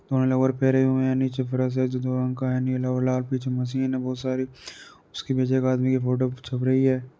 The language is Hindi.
लोअर पहने हुए हैं। नीचे एक फर्श है लाल पीछे मशीन हैं बहुत सारी। उसके पीछे एक आदमी की फोटो छप रही है।